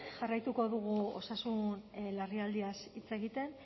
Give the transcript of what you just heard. jarraituko dugu osasun larrialdiaz hitz egiten